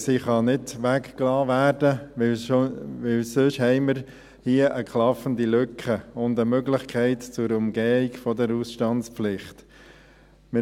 Sie kann nicht weggelassen werden, weil wir hier sonst eine klaffende Lücke und eine Möglichkeit zur Umgehung der Ausstandspflicht hätten.